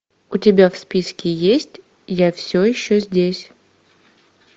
у тебя в списке есть я все еще здесь